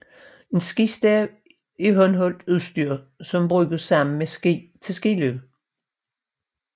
En skistav er håndholdt udstyr som bruges sammen med ski til skiløb